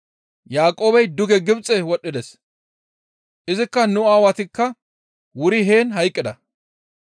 Yaaqoobey duge Gibxe wodhdhides. Izikka nu aawatikka wuri heen hayqqida.